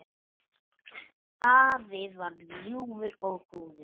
Afi var ljúfur og góður.